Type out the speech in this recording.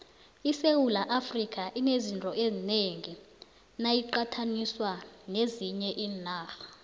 isewula afrika inezinto ezinengi nayiqathaniswa nezinye iinarha